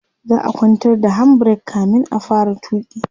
za'a kwantar da hand break kamin a fara tuki